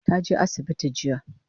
Ta je asibiti jiya